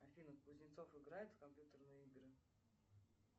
афина кузнецов играет в компьютерные игры